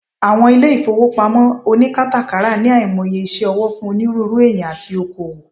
Awon ile ifowopamo onikarakata ni aimoye ise owo fun oniruuru eeyan ati oko-owo